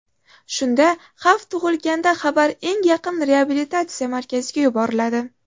Shunda xavf tug‘ilganda xabar eng yaqin reabilitatsiya markaziga yuboriladi.